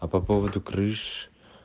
а по поводу крыш